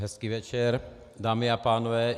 Hezký večer, dámy a pánové.